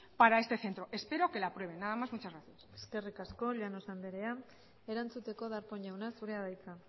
para este centro espero que la aprueben nada más muchas gracias eskerrik asko llanos andrea erantzuteko darpón jauna zurea da hitza